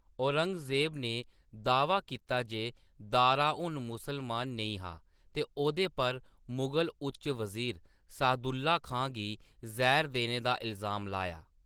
औरंगज़ेब ने दा‌‌ह्‌वा कीता जे दारा हून मुस्लिम नेईं हा ते ओह्दे पर मुगल उच्च वज़ीर सादुल्ला खान गी जैह्‌र देने दा इलजाम लाया।